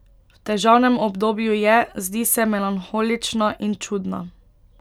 V težavnem obdobju je, zdi se melanholična in čudna.